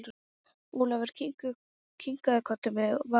Ólafur kinkaði kolli með varúð.